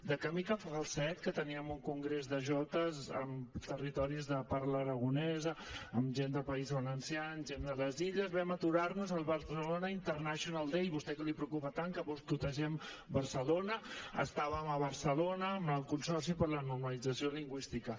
de camí cap a falset que teníem un congrés de jotes amb territoris de parla aragonesa amb gent del país valencià amb gent de les illes vam aturar nos al barcelona international day a vostè que li preocupa tant que boicotegem barcelona estàvem a barcelona amb el consorci per a la normalització lingüística